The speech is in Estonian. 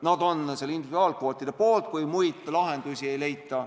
nad on individuaalkvootide poolt, kui muid lahendusi ei leita.